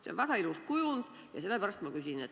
See on väga ilus kujund ja sellepärast ma küsin.